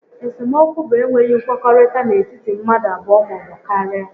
Esemokwu bụ enweghị nkwekọrịta n'etiti mmadụ abụọ maọbụ karịa